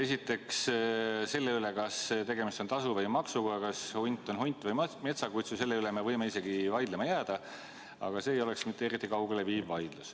Esiteks, selle üle, kas tegemist on tasu või maksuga, kas hunt on hunt või metsakutsu, me võime vaidlema jäädagi, aga see ei vaidlus ei viiks eriti kaugele.